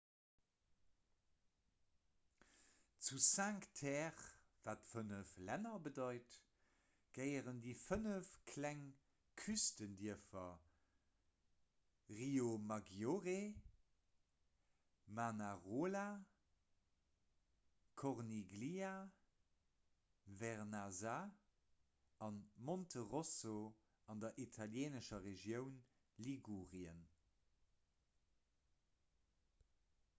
zu cinque terre wat fënnef länner bedeit gehéieren déi 5 kleng küstendierfer riomaggiore manarola corniglia vernazza a monterosso an der italieenescher regioun ligurien